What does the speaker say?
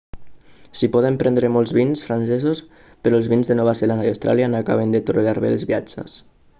s'hi poden prendre molts vins francesos però els vins de nova zelanda i austràlia no acaben de tolerar bé els viatges